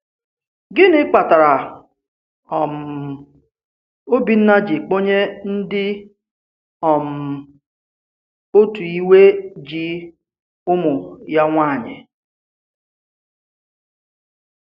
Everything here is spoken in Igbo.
Gịnị kpatara um Òbìnna ji kpọnye ndị um òtù ìwe ji ụmụ ya nwanyị?